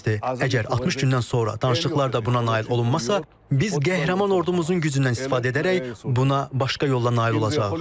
Əgər 60 gündən sonra danışıqlarda buna nail olunmazsa, biz qəhrəman ordumuzun gücündən istifadə edərək buna başqa yolla nail olacağıq.